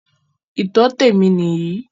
Ìtọ́tẹ̀ mi nìyí.